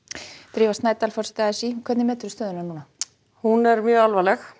drífa Snædal forseti a s í hvernig metur þú stöðuna núna hún er alvarleg